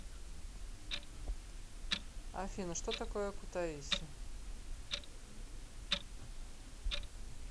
афина что такое кутаиси